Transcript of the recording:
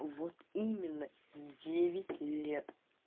вот именно девять лет